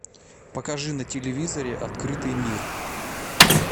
покажи на телевизоре открытый мир